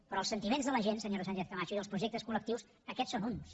però els sentiments de la gent senyora sánchez camacho i els projectes col·lectius aquests són uns